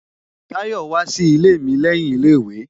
Tayọ wá sí ilé mi lẹ́yìn ilé ìwé